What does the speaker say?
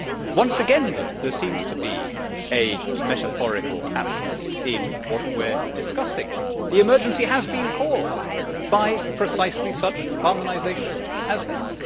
Once again, though, there seems to be a metaphorical aptness in what we are discussing. The emergency has been caused by precisely such harmonisation as this.